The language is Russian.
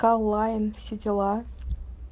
ка лайн все дела